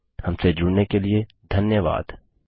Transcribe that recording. हमसे जुड़ने के लिए धन्यवाद